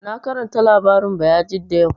Na karanta labarin Bayajidda yau